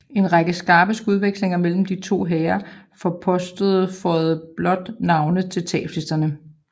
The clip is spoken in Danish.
En række skarpe skudvekslinger mellem de to hære forposter føjede blot navne til tabslisterne